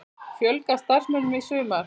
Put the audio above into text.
Fjölga starfsmönnum í sumar